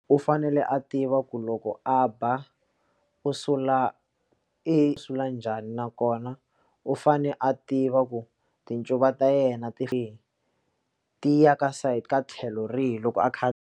U fanele a tiva ku loko a ba u sula i sula njhani nakona u fane a tiva ku tincuva ta yena ti ya ka side ka tlhelo rihi loko a kha.